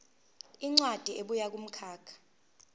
incwadi ebuya kumkhakha